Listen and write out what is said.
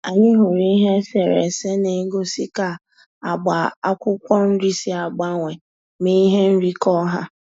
Anyị hụrụ ihe eserese na-egosi ka agba akwụkwọ nrị si agbanwe ma ihe nri kọọ ha